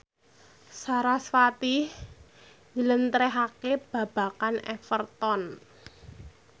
sarasvati njlentrehake babagan Everton